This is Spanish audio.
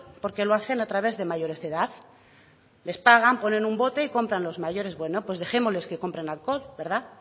porque lo hacen a través de mayores de edad les pagan ponen un bote y compran los mayores bueno pues dejémosles que compren alcohol verdad